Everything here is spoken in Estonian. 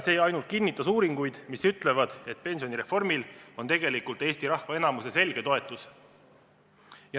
See ainult kinnitas uuringuid, mis ütlevad, et pensionireformil on Eesti rahva enamuse selge toetus.